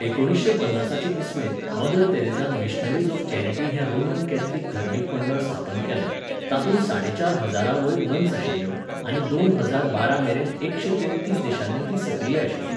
एकुणिशें पन्नासाचे इस्वेंत मदर तेरेझान मिशनरीज ऑफ चॅरिटी हें रोमन कॅथलिक धर्मीक मंडळ स्थापन केलें, तातूंत साडेचार हजारांवयर नन्स आशिल्ल्यो आनी दोन हजार बारामेरेन एकशें तेत्तीस देशांनी तीं सक्रीय आशिल्लीं.